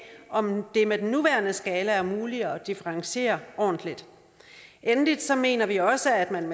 om det med den nuværende skala er muligt at differentiere ordentligt endelig mener vi også at man